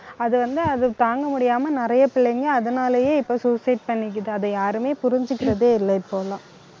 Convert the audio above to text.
அது வந்து, அது தாங்க முடியாம நிறைய பிள்ளைங்க அதனாலயே இப்ப suicide பண்ணிக்குது அதை யாருமே புரிஞ்சுக்கிறதே இல்ல இப்பல்லாம்.